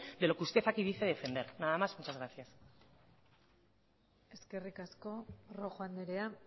de lo que usted aquí dice defender nada más muchas gracias eskerrik asko rojo andrea